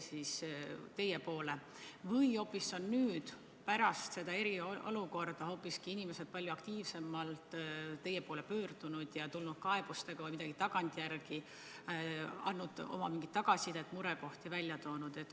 Või on hoopis nüüd, pärast eriolukorda hakanud inimesed palju aktiivsemalt teie poole pöörduma ja tulnud tagantjärele kaebustega või andnud tagasisidet, toonud välja murekohti?